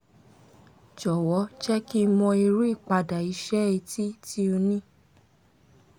jọ̀wọ́ jẹ́ kí n mọ̀ irú ìpadà iṣẹ́ etí tí ó ní